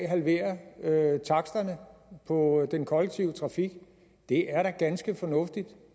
halvere taksterne på den kollektive trafik det er da ganske fornuftigt